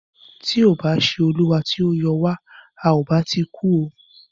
Tí kò bá ṣé olúwa tí o yọ wa,à o bá ti kú o.